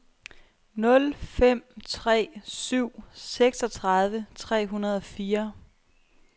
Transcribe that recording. nul fem tre syv seksogtredive tre hundrede og fire